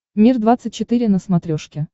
мир двадцать четыре на смотрешке